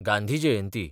Gandhi Jayanti